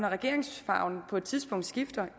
regeringsfarven på et tidspunkt skifter